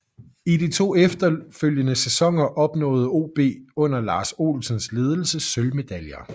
I de to efterfølgende sæsoner opnåede OB under Lars Olsens ledelse sølvmedaljer